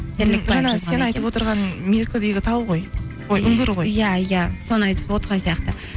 сен айтып отырған меркідегі тау ғой ой үңгір ғой иә иә соны айтып отырған сияқты